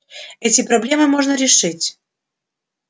эти проблемы можно решить